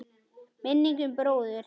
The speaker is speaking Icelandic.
Minning um bróður.